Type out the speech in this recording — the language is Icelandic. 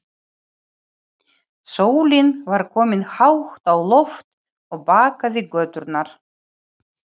Sólin var komin hátt á loft og bakaði göturnar.